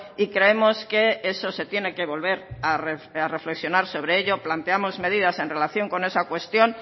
y creemos que eso se tiene que volver a reflexionar sobre ello planteamos medidas en relación con esa cuestión